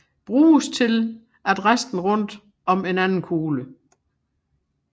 Bruges til at resten rundt om en anden kugle